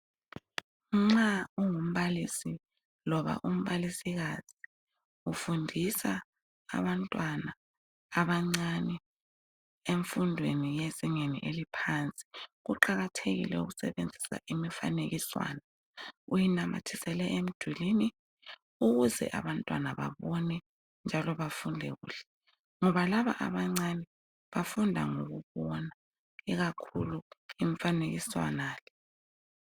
Nxa ungumbalisi loba umbalisikazi ufundisa abantwana abancane emfundweni yezingeni eliphansi kuqakathekile ukusebenzisa imifanekiswana uyinamathisele emdulini ukuze abantwana babone njalo bafunde kuhle ngoba laba abancane bafunda ngokubona ikakhulu imfanekiswana le.